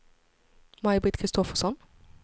Maj-Britt Kristoffersson